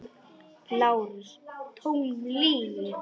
LÁRUS: Tóm lygi!